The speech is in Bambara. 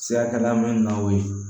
Sirakɛda min na aw ye